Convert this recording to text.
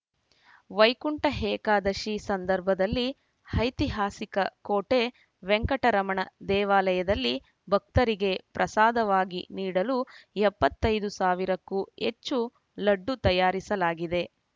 ವೈಕುಂಠ ಏಕಾದಶಿ ಸಂದರ್ಭದಲ್ಲಿ ಐತಿಹಾಸಿಕ ಕೋಟೆ ವೆಂಕಟರಮಣ ದೇವಾಲಯದಲ್ಲಿ ಭಕ್ತರಿಗೆ ಪ್ರಸಾದವಾಗಿ ನೀಡಲು ಎಪ್ಪತ್ತೈದು ಸಾವಿರಕ್ಕೂ ಹೆಚ್ಚು ಲಡ್ಡು ತಯಾರಿಸಲಾಗಿದೆ